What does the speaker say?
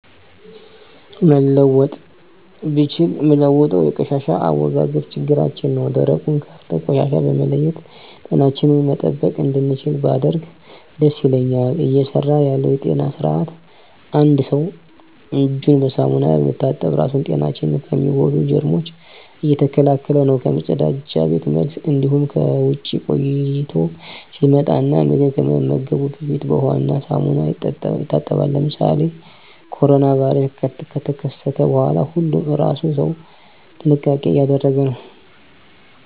መለወጥ ብችል ምለውጠው የቆሻሻ አወጋገድ ችግራችን ነው ደረቁን ከእርጥብ ቆሻሻ በመለየት ጤናችንን መጠበቅ እንድችል ባደርግ ደስ ይለኛል። እየሰራ ያለው የጤና ስርአት አንድ ሰው እጁን በሳሙና በመታጠብ ራሱን ጤናችን ከሚጎዱ ጀርሞች እየተከላከለ ነው ከመፀዳጃ ቤት መልስ እንዲሁም ከውጭ ቆይቶ ሲመጣ እና ምግብ ከመመገቡ በፊት በውሃ እና ሳሙና ይታጠባል። ለምሳሌ ኮሮና ቫይረስ ከተከሰተ በኋላ ሁሉም ለእራሱ ሰው ጥንቃቄ እያደረገ ነው።